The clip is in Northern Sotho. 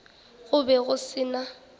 go be go se na